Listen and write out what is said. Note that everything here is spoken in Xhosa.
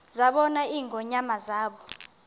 zabona ingonyama zaba